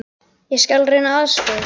Ég skal reyna að aðstoða ykkur.